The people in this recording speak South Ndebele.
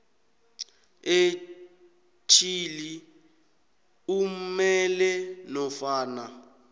etjhili umele nofana